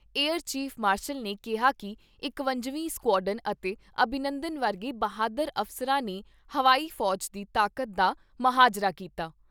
Air chief marshal ਨੇ ਕਿਹਾ ਕਿ ਇਕਵੰਜਵੀਂ ਸੈਕਆਡਨ ਅਤੇ ਅਭਿਨੰਦਨ ਵਰਗੇ ਬਹਾਦਰ ਅਫਸਰਾਂ ਨੇ ਹਵਾਈ ਫੌਜ ਦੀ ਤਾਕਤ ਦਾ ਮਜਾਹਰਾ ਕੀਤਾ।